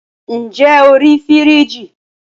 ǹjẹ́ o rí fìríìjì?